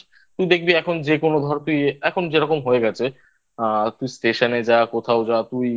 তুই দেখবি এখন যেকোনো ধর তুই এখন যেরকম হয়ে গেছে আ তুই স্টেশনে যা কোথাও যা